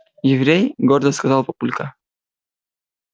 еврей гордо сказал папулька